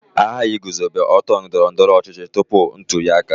A ghaghị iguzobe otu ndọrọ ndọrọ ọchịchị tupu ntuli aka.